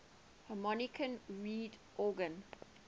harmonium reed organ